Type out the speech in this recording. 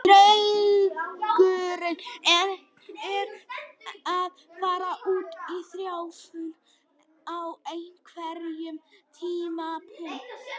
Draumurinn er að fara út í þjálfun á einhverjum tímapunkti.